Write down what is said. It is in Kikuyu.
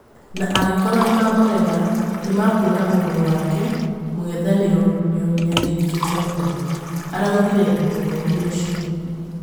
na angĩkorwo nĩmamurega nĩmakũona ũruru wake... mũng'ethaniro nĩũnyarirĩkĩte mũno," araũgirĩ mũthomi ũcio